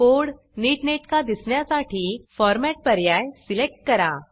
code नीटनेटका दिसण्यासाठी formatफॉरमॅट पर्याय सिलेक्ट करा